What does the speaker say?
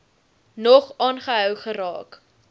nog aangehou geraak